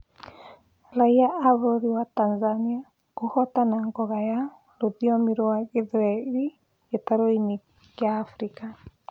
Raiya a bũrũri wa Tanzania kũhotana ngoga ya rũthiomi rwa gĩthweri gĩtarũ-inĩ kĩa Africa